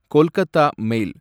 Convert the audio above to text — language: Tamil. கொல்கதா மெய்ல்